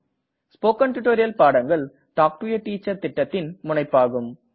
spoken tutorial பாடங்கள் talk to a teacher திட்டத்தின் முனைப்பாகும்